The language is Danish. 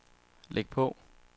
læg på